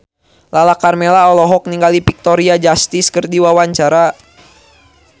Lala Karmela olohok ningali Victoria Justice keur diwawancara